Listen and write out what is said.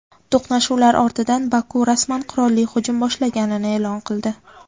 To‘qnashuvlar ortidan Baku rasman qurolli hujum boshlaganini e’lon qildi.